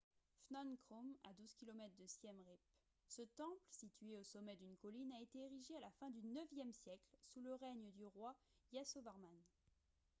phnom krom à 12 km de siem reap ce temple situé au sommet d'une colline a été érigé à la fin du ixe siècle sous le règne du roi yasovarman